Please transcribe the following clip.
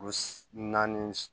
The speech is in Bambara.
U si naani